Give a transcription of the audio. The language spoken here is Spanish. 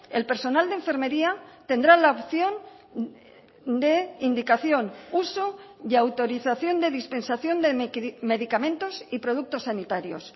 el personal de enfermería tendrá la opción de indicación uso y autorización de dispensación de medicamentos y productos sanitarios